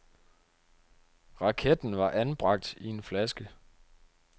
Raketten var anbragt i en flaske.